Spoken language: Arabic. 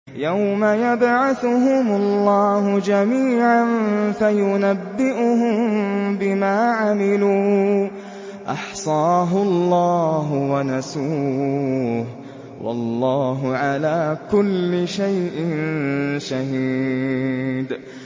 يَوْمَ يَبْعَثُهُمُ اللَّهُ جَمِيعًا فَيُنَبِّئُهُم بِمَا عَمِلُوا ۚ أَحْصَاهُ اللَّهُ وَنَسُوهُ ۚ وَاللَّهُ عَلَىٰ كُلِّ شَيْءٍ شَهِيدٌ